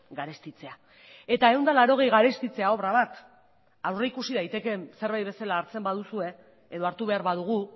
garestitzea eta ehun eta laurogei garestitzea obra bat aurreikusi daitekeen zerbait bezala hartzen baduzue edo hartu behar badugu